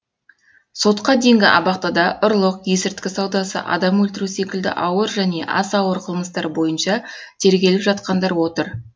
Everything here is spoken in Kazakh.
сотқа дейінгі абақтыда ұрлық есірткі саудасы адам өлтіру секілді ауыр және аса ауыр қылмыстар бойынша тергеліп жатқандар отыр